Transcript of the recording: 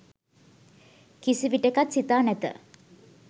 කිසිවිටෙකත් සිතා නැත.